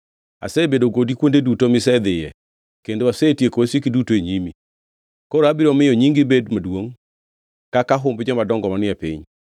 Asebedo kodi kuonde duto misedhiye, kendo asetieko wasiki duto e nyimi. Koro abiro miyo nyingi bed maduongʼ kaka humb jomadongo manie piny.